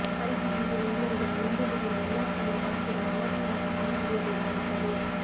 ಪರಿಸ್ಥಿತಿ ಹೀಗೆ ಮುಂದುವರಿದರೆ ಮುಂದೊಂದು ದಿನ ಎಲ್ಲಾ ಸ್ಥಳೀಯ ಭಾಷೆಗಳೂ ಅವಸಾನದ ಹಾದಿ ಹಿಡಿಯಬೇಕಾಗುತ್ತದೆ